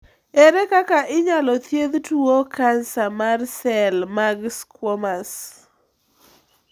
Ere kaka inyalo thiedh tuowo kansa mar sel mag squamous ?